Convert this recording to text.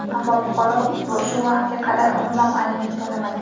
Ammo fuqaro shu vaqtga qadar umuman aliment to‘lamagan.